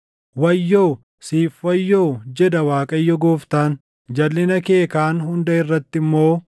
“ ‘Wayyoo! Siif wayyoo, jedha Waaqayyo Gooftaan. Jalʼina kee kaan hunda irratti immoo,